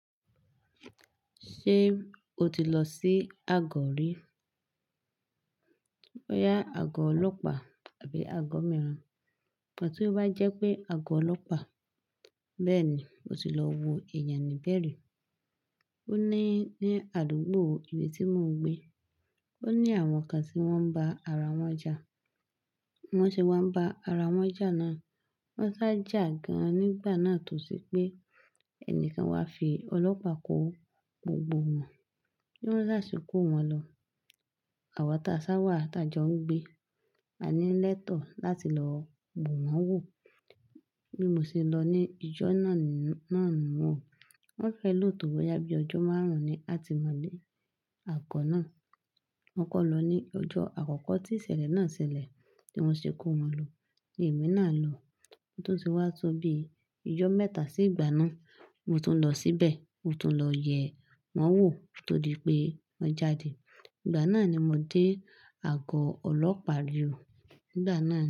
Ṣé o ti lọ sí Agọ rí? Bọ́yá àgọ̀ ọlọ́pàá tàbí àgọ̀ mìíràn? Ìgbà tí ó bá jẹ́ pé àgọ̀ ọlọ́pàá, bẹ́ẹ̀ ni, mo ti lọ wo èèyàn níbẹ̀ rí. Ó ní ní àdúgbò ibi tí mò ń gbé. Ó ní àwọn kan tí wọ́n ń ba ara wọn jà. Wọ́n ṣe wá ń ba ara wọn jà náà, wọ́n sá jà gan-an nígbà náà to se pé ẹnìkan wá fi ọlọ́pàá kó gbogbo wọn. Bí wọ́n bá ṣe kó wọn lọ, àwa tí a sá wà, tí a jọ ń gbé, a ní lẹ́tọ̀ láti lọ bu wọn wò. Bí mo ṣe lọ ní ìjọ náà ni wọ́n wò. Wọ́n fẹ́ lò tó wẹ yá bí ọjọ́ márùn-ún ni atimọ̀le ní àgọ́ náà. Wọ́n kọ́ lọ ní ọjọ́ àkọ́kọ́ tí ìsẹ̀lẹ̀ náà sẹlẹ̀ tí wọ́n ṣe kó wọn lọ ní èmi náà lọ. Tó ti wá tó bí ìjọ mẹ́ta sí ìgbà náà, mo tún lọ síbẹ̀, mo tún lọ yè wọ́n wò tódì pé wọ́n jáde. Ìgbà náà ni mo dé àgọ́ ọlọ́pàá rí o.